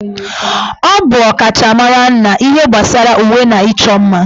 Ọ bụ ọkachamara na ihe gbasara uwe na ịchọ mma